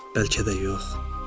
Bəlkə də yox.